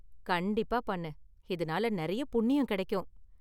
கண்டிப்பா பண்ணு, இதனால நெறைய புண்ணியம் கெடைக்கும்.